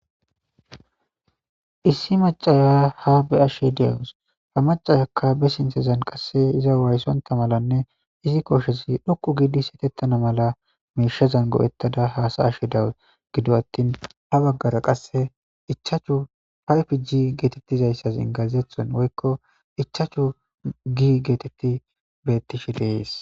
issi macaya ha beashe dawus fa macayakka be sintezan qasse iza wayssonta malanne izi koshezi dhoqu giidi setettana mala miishezan go7ettada haasa ashe dawu gido attin ha baggara qasse ichaachu payfi gi geetettizayssas ingazethen woykko ichaachu gi geetetti bettishi deees